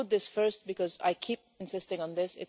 I put this first because I keep insisting on this.